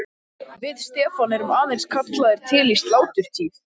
Við Stefán erum aðeins kallaðir til í sláturtíð.